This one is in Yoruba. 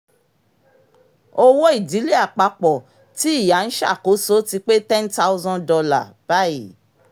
owó ìdílé àpapọ̀ tí ìyá ń ṣàkóso ti pé ten thousand dolar bayii